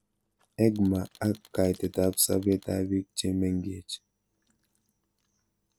EGMA ak kaitet ab sobet ab pik che meng'ech